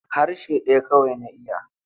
Harshe ɗaya kawai na iya.